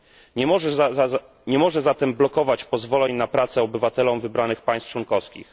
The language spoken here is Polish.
Nie może zatem blokować pozwoleń na pracę obywatelom wybranych państw członkowskich.